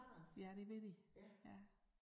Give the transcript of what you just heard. Ja det vil de ja